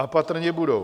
A patrně budou.